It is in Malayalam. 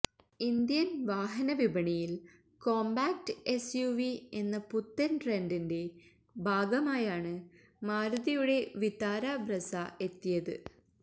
ഇന്ത്യന് വാഹനവിപണിയില് കോംപാക്ട് എസ്യുവി എന്ന പുത്തന് ട്രെന്റിന്റെ ഭാഗമായാണ് മാരുതിയുടെ വിത്താര ബ്രെസ എത്തിയത്